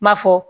Ma fɔ